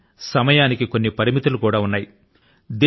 అయితే సమయానికి కొన్ని పరిమితులు కూడా ఉన్నాయి